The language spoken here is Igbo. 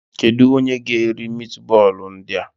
Kedu onye ga-eri mitbọọlụ ndị a?